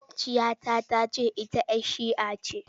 Maƙwabciya ta ta ce ita 'yar shia ce.